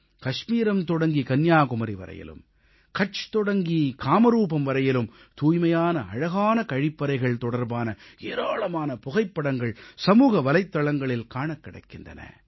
காஷ்மீரம் தொடங்கி கன்னியாகுமரி வரையிலும் கட்ச் தொடங்கி காமரூப் வரையிலும் தூய்மையான அழகான கழிப்பறைகள் தொடர்பான ஏராளமான புகைப்படங்கள் சமூக வலைத்தளங்களில் காணக் கிடைக்கின்றன